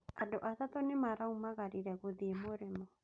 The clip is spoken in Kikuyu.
Andũ atatũ nĩmaraumagarire gũthiĩ mũrĩmo.